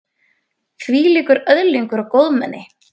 Þvílíkur öðlingur og góðmenni.